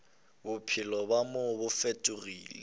bophelo bja mo bo fetola